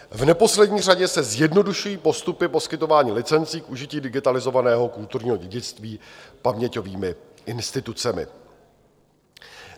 V neposlední řadě se zjednodušují postupy poskytování licencí k užití digitalizovaného kulturního dědictví paměťovými institucemi.